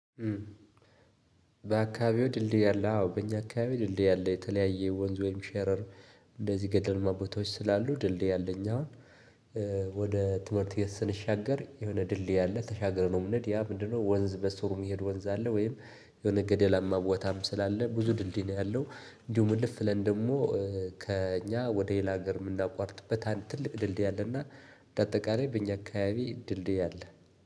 በአካባቢዎ ድልድይ አለ? አዎ በእኛ አካባቢ ድልድይ አለ። የተለያየ ወንዝ ወይም ሸረር እንደዚህ ገደላማ ቦታዎች ስላሉ ድልድይ አለ አዎ ወደ ትምህርት ቤት ስንሻገር የሆነ ድልድይ አለ ተሻግረን ነው የምነሄደው። ያ ምንድነው ወንዝ በስሩ የሚሄድ ወንዝ አለ ወይም የሆነ ገደላማ ቦታም ስላለ ብዙ ድልድይ ነው ያለው። እንዲሁም እልፍ ብለን ደግሞ ከእኛ ወደ ሌላ ሀገር የምናቋርጥበት ትልቅ ድልድይ አለ እና በአጠቃላይ በእኛ አካባቢ ድልድይ አለ።